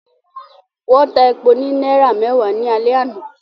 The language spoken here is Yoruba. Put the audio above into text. Wọ́n ta epo ní náírà mẹ́wàá ní alẹ́ àná